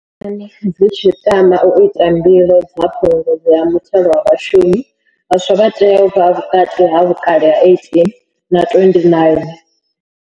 Khamphani dzi tshi tama u ita mbilo dza phungudzo ya muthelo wa vhashumi, vhaswa vha tea u vha vhukati ha vhukale ha 18 na 29.